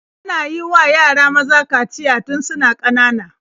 Ana yiwa yara maza kaciya tun suna ƙanana.